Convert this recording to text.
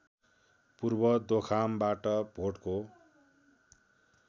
पूर्व दोखामबाट भोटको